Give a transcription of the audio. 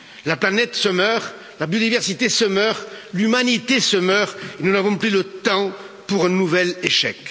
La planète se meurt, la biodiversité se meurt, l'Humanité se meurt, nous n'avons plus le temps pour un nouvel échec.